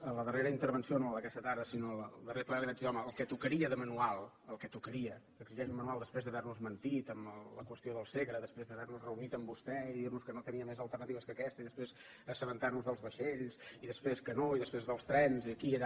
a la darrera intervenció no la d’aquesta tarda sinó la del darrer ple li vaig dir home el que tocaria de manual el que tocaria que exigeix un manual després d’haver nos mentit amb la qüestió del segre després d’haver nos reunit amb vostè i dir nos que no tenia més alternatives que aquesta i després assabentarnos dels vaixells i després que no i després dels trens i aquí i allà